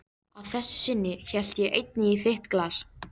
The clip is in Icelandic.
Að þessu sinni hellti ég einnig í þitt glas.